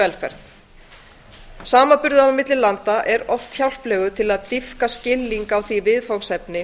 velferð samanburður á milli landa er oft hjálplegur til að dýpka skilning á því viðfangsefni